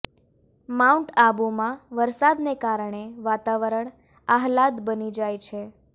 mount આબુમાં વરસાદને કારણે વાતાવરણ આહલાદ બની જાય છે